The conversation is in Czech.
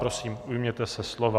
Prosím, ujměte se slova.